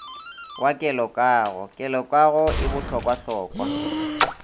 wa kelokago kelokago e bohlokwahlokwa